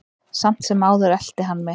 Samt sem áður elti hann mig.